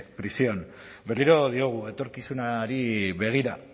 prisión berriro diogu etorkizunari begira